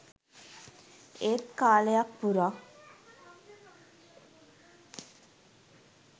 ඒත් කාලයක් පුරා